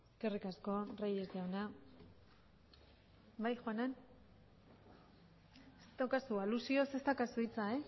eskerrik asko reyes jauna bai aluzioz ez daukazu hitza